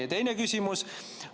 Ja teine küsimus.